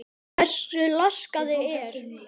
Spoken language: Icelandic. Hversu laskað það er?